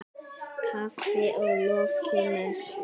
Kaffi að lokinni messu.